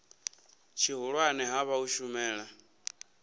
tshihulwane ha vha u shumela